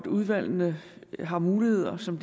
udvalgene har muligheder som